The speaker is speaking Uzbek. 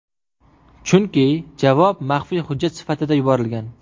Chunki javob maxfiy hujjat sifatida yuborilgan.